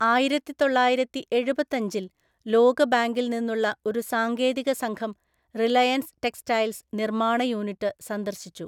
ആയിരത്തിതൊള്ളായിരത്തിഎഴുപത്തഞ്ചില്‍ ലോകബാങ്കിൽ നിന്നുള്ള ഒരു സാങ്കേതിക സംഘം 'റിലയൻസ് ടെക്സ്റ്റൈൽസ്' നിർമാണ യൂണിറ്റ് സന്ദർശിച്ചു.